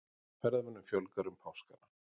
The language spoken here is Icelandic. Ferðamönnum fjölgar um páskana